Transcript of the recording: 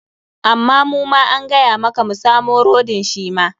Amma muma an gaya maka mu samo rodin shi ma.